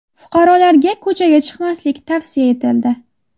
Fuqarolarga ko‘chaga chiqmaslik tavsiya etildi.